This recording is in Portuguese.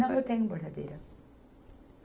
Não, eu tenho bordadeira.